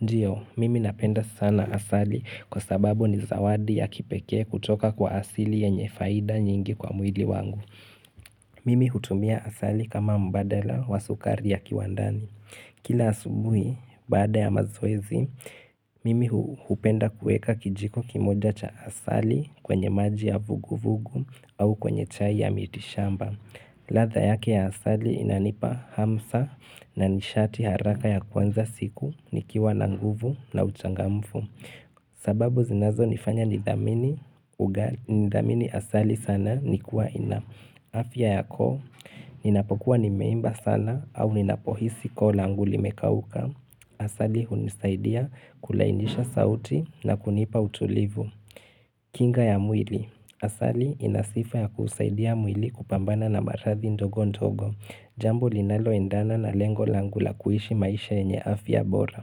Ndiyo, mimi napenda sana asali kwa sababu ni zawadi ya kipekee kutoka kwa asili ye nye faida nyingi kwa mwili wangu. Mimi hutumia asali kama mbadala wa sukari ya kiwandani. Kila asubuhi, bada ya mazoezi, mimi hupenda kuweka kijiko kimoja cha asali kwenye maji ya vuguvugu au kwenye chai ya mitishamba. Ladha yake ya asali inanipa hamsa na nishati haraka ya kwanza siku nikiwa na nguvu na uchangamfu. Sababu zinazo nifanya nithamini asali sana nikuwa ina. Afya yako, ninapokuwa nimeimba sana au ninapohisi koo langu li mekauka. Asali unisaidia kulainisha sauti na kunipa utulivu. Kinga ya mwili. Asali inasifa ya kusaidia mwili kupambana na maradhi ndogo ndogo. Jambo linalo endana na lengo langu la kuishi maisha yenye afya bora.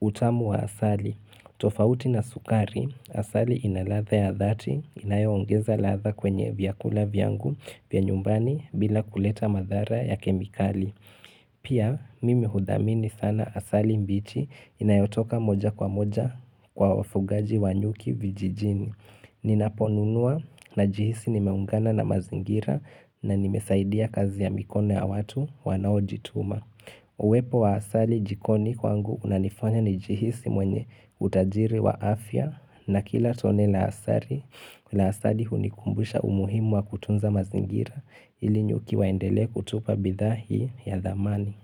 Utamu wa asali. Tofauti na sukari. Asali inaladha ya dhati. Inayoongeza ladha kwenye vyakula vyangu pia nyumbani bila kuleta madhara ya kemikali. Pia mimi hudamini sana asali mbichi inayotoka moja kwa moja kwa wafugaji wanyuki vijijini Ninaponunuwa na jihisi nimeungana na mazingira na nimesaidia kazi ya mikone ya watu wanao jituma Uwepo wa asali jikoni kwangu unanifanya ni jihisi mwenye utajiri wa afya na kila tone la asali la asali hunikumbusha umuhimu wa kutunza mazingira ilinyuki waendelee kutupa bidhiaa hiyo ya thamani.